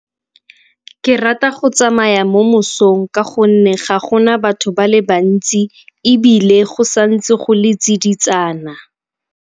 Ke rata go tsamaya mo mosong ka gonne ga gona batho ba le bantsi ebile go sa ntse go le tsiditsana.